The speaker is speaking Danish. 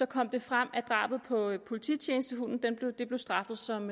kom det frem at drabet på polititjenestehunden blev straffet som